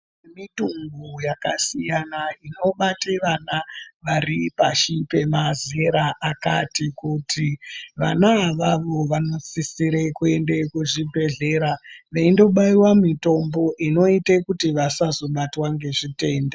Kune mitungu yakasiyana inobate vana vari pashi pemazera akati kuti, vana avavo vanosisire kuende kuzvibhedhlera veindobaiwa mitombo inoite kuti vasazobatwa ngezvitenda.